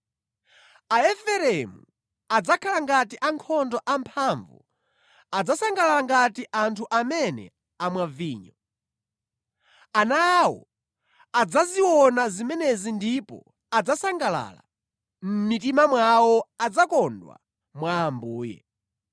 Aefereimu adzakhala ngati ankhondo amphamvu adzasangalala ngati anthu amene amwa vinyo. Ana awo adzaziona zimenezi ndipo adzasangalala; mʼmitima mwawo adzakondwa mwa Ambuye.